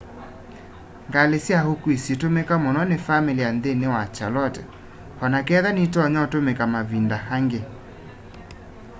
ngali sya ukui situumiika muno ni familia nthini wa charlotte onaketha nitonya utumika mavinda angi